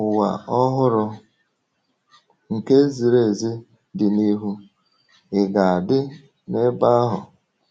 Ụwa ọhụrụ nke ziri ezi dị n’ihu — ị ga-adị n'ebe ahụ?